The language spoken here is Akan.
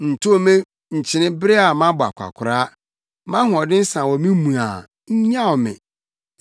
Ntow me nkyene bere a mabɔ akwakoraa; mʼahoɔden sa wɔ me mu a, nnyaw me.